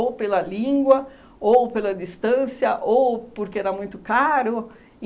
pela língua, ou pela distância, ou porque era muito caro.